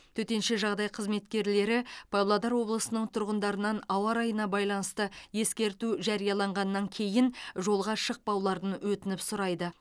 төтенше жағдай қызметкерлері павлодар облысының тұрғындарынан ауа райына байланысты ескерту жарияланғаннан кейін жолға шықпауларын өтініп сұрайды